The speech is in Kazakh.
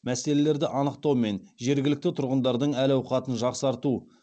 мәселелерді анықтау мен жергілікті тұрғындардың әл ауқатын жақсарту